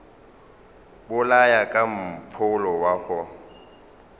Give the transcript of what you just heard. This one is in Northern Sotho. bolaya ka mpholo wa go